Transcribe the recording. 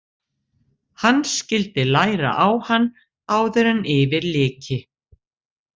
Hann skyldi læra á hann áður en yfir lyki.